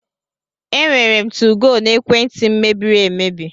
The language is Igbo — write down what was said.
Enwere m 2go n'ekwenti m mebiri emebi.